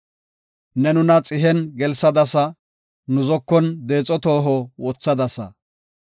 Ne nuna xihen gelsadasa; nu zokon deexo toho wothadasa.